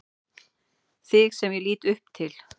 Þig sem ég leit upp til.